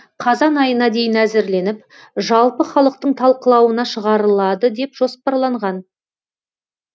жоба қазан айына дейін әзірленіп жалпы халықтың талқылауына шығарылады деп жоспарланған